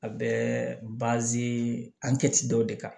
A bɛ an kɛ ci dɔ de kan